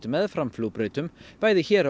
meðfram flugbrautum bæði hér